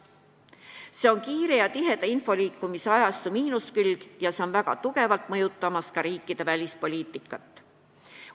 See on info kiire ja tiheda liikumise ajastu miinuskülg ja see on väga tugevalt mõjutamas ka riikide välispoliitikat.